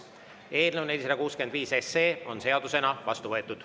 Eelnõu 465 on seadusena vastu võetud.